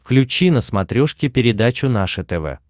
включи на смотрешке передачу наше тв